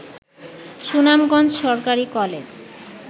সুনামগঞ্জ সরকারি কলেজ